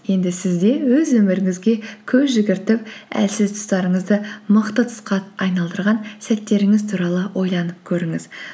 енді сіз де өз өміріңізге көз жүгіртіп әлсіз тұстарыңызды мықты тұсқа айналдырған сәттеріңіз туралы ойланып көріңіз